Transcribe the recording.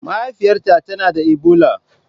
Mahaifiyarta tana da Ebola.